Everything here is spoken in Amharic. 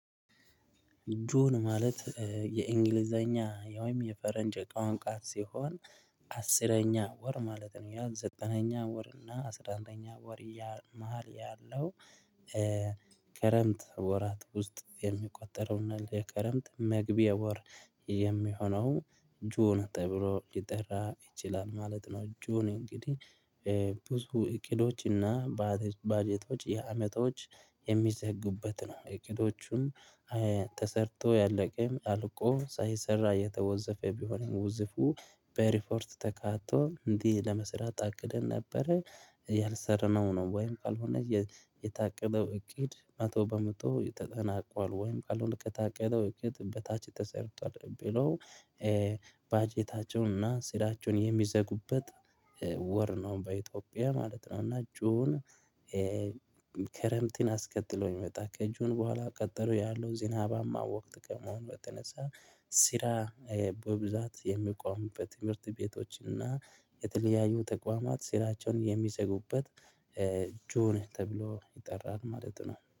ጁን ማለት የእንግሊዘኛ ያውም የፈረንጅ ቋንቋ ሲሆን አስረኛ ወር ማለት ነው። ያ ዘጠነኛ ወር እና አስራ አንደኛ ወር መሃል ያለው ከረምት ወራት ውስጥ የሚቆጠረውና የከረምት መግቢያ ወር የሚሆነው ጆን ተብሎ ሊጠራ ይችላል ማለት ነው። ጆን እንግዲህ ብዙ እቅዶችና በጀቶች የአመቶች የሚዘግበት ነው። እቅዶቹም ተሰርቶ ያለቀም አልቆ ሳይሰራ የተወዘፈ ቢሆንም ውዝፉ በሪፖርት ተካቶ እንዲህ ለመስራት ታቅደን ነበረ። ያልሰረመው ነው ወይም ካልሆነ የታቀደው እቅድ መቶ በመቶ ተጠናቋል ወይም ካልሆነ ከታቀደው እቅድ በታችተሰርቷል ብሎ። በጀታቸውን እና ስራቸውን የሚዘጉበት ወር ነው በኢትዮጵያ ማለት ነው። እና ጁን ክረምትን አስከትሎ ይመጣ ከእጁን በኋላ ቀጠለው ያለው ዝናባማ ወቅት ከመሆን በተነሳ ስራ በብዛት የሚቆሙበት ትምህርት ቤቶችና የተለያዩ ተቋማት ስራቸውን የሚዘጉበት ጆን ተብሎ ይጠራል ማለት ነው